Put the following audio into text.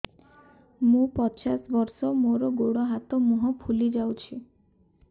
ମୁ ପଚାଶ ବର୍ଷ ମୋର ଗୋଡ ହାତ ମୁହଁ ଫୁଲି ଯାଉଛି